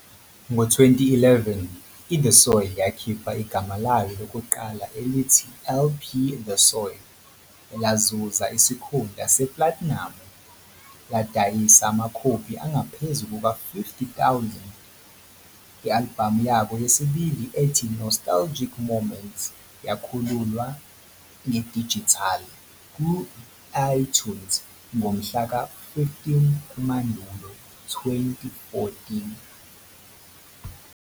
Ngo-2011, i-The Soil yakhipha igama layo lokuqala elithi LP The Soil elazuza isikhundla seplatinamu, ladayisa amakhophi angaphezu kuka-50,000. I-albhamu yabo yesibili ethi Nostalgic Moments yakhululwa ngedijithali ku-iTunes ngomhlaka-15 kuMandulo 2014.